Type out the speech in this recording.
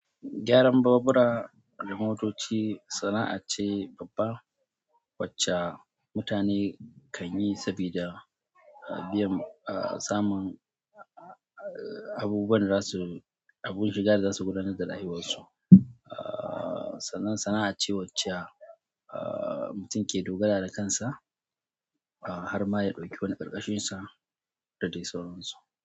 Gyaran babura da motoci sana'a ce babba wacce mutane kan yi saboda biyan, ah, samun abubuwan da za su, abun shiga da za su gudanar da rayuwarsu. Ah, sannan sana'a ce wacce, ah, mutum ke dogara da kansa har ma ya ɗauki wani ƙarƙashinsa da dai sauransu.